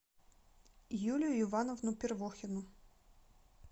юлию ивановну первухину